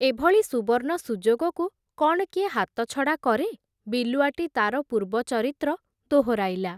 ଏଭଳି ସୁବର୍ଣ୍ଣ ସୁଯୋଗକୁ କ’ଣ କିଏ ହାତଛଡ଼ା କରେ, ବିଲୁଆଟି ତା’ର ପୂର୍ବ ଚରିତ୍ର ଦୋହରାଇଲା ।